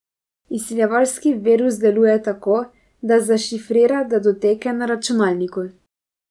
Izsiljevalski virus deluje tako, da zašifrira datoteke na računalniku.